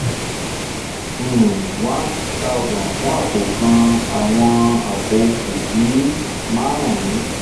um one thousand fun apo kan awọn apo kofi marun